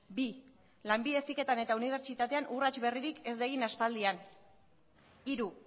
bi lanbide heziketan eta unibertsitatean urrats berririk ez da egin aspaldian hiru